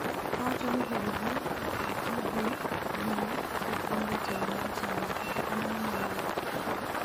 nowacho ni heri gi ok bi dhi nyime ka pod en jatelo mar chama, kata kamano onyalo weyo telo